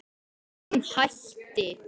Hann hætti.